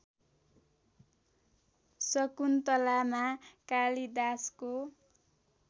शकुन्तलामा कालिदासको